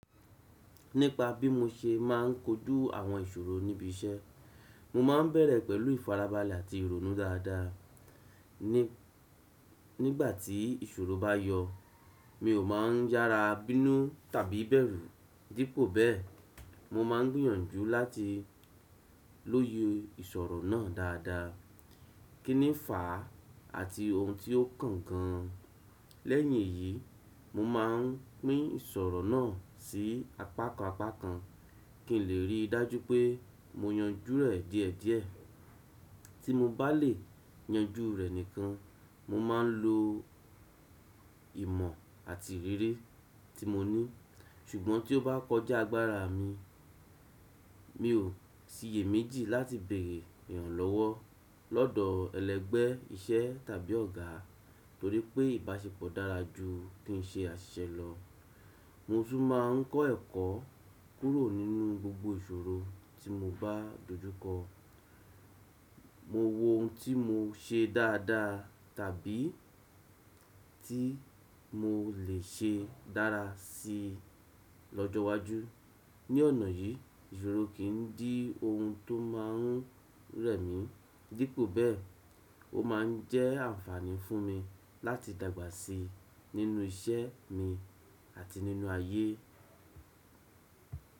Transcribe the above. Nípa bí mo ṣe máà ń kojú àwọn ìṣòro níbi iṣẹ́, mo máa ń bẹ̀rẹ̀ pẹ̀lú ìfarabalẹ̀ àti ìrònú dáadáa. Nígbà tí ìṣòro bá yọ, mi ò máa ń yára bínú tàbí bẹ̀rù. Dípò bẹ́ẹ̀, mo máa ń gbìyànjú láti lóye ìṣòro náà dáadáa, kín ní fa àti ohun tí ó kàn gán. Lẹ́yìn èyí, mo máa ń pín ìṣòro náà sí apákan apákan kí n lè rí i dájú pé mo yanjú rẹ̀ díẹ̀díẹ̀. Tí mo bá lè yanjú rẹ̀ nìkan, mo máa ń lo ìmọ̀ àti ìrírí tí mo ní. Ṣùgbọ́n tí ó bá kọjá agbára mi, mi ò síye méjì láti bèrè ìrànlọ́wọ́ lọ́dọ̀ ẹlẹ́gbẹ́ iṣẹ́ tàbí ọ̀gá torí pé ìbáṣepọ̀ dára ju kí n ṣe àṣiṣẹ lọ. Mo tún máa ń kọ́ ẹ̀kọ́ kúrò nínú gbogbo ìṣòro tí mo bá dojú kọ. Mo wo ohun tí mo ṣe dáadáa tàbí tí mo le ṣe dára sí i lọ́jọ́ iwájú. Ní ọ̀nà yìí, ìṣòro kì í dí ohun tó máa ń rẹ̀ mí. Dípò bẹ́ẹ̀, ó máa ń jẹ́ àǹfààní fún mi láti dàgbà sí i nínú iṣẹ́ mi àti nínú ayé.